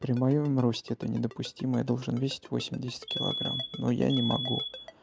при моём росте это недопустимое должен весить восемьдесят килограмм но я не могу